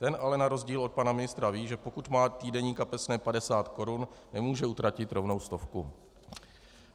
Ten ale na rozdíl od pana ministra ví, že pokud má týdenní kapesné 50 korun, nemůže utratit rovnou stovku.